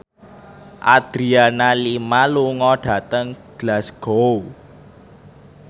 Adriana Lima lunga dhateng Glasgow